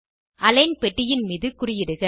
align பெட்டியின் மீது குறியிடுக